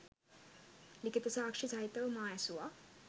ලිඛිත සාක්ෂි සහිතව මා ඇසුවා